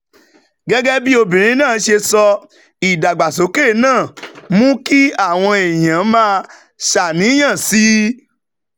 gẹ́gẹ́ bí obìnrin náà ṣe sọ, ìdàgbàsókè náà mú kí àwọn èèyàn máa ṣàníyàn sí i,